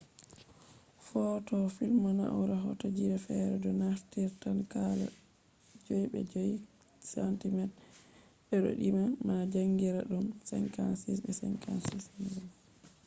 footoo film na'ura hoto ji fere do naftiran kala 6 be 6 cm de'iddo ma jankiraadum 56 be 56 mm